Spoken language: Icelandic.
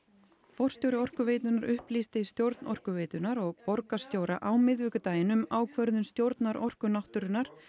forstjóri Orkuveitunnar upplýsti stjórn Orkuveitunnar og borgarstjóra á miðvikudaginn um ákvörðun stjórnar Orku náttúrunnar